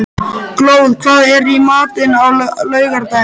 Glóð, hvað er í matinn á laugardaginn?